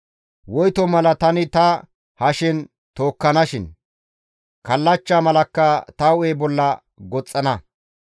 Woyto mala tani ta hashen tookkanakkoshin; kallachcha malakka ta hu7e bolla goxxana.